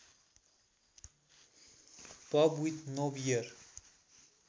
pub with no beer